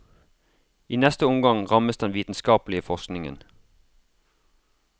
I neste omgang rammes den vitenskapelige forskningen.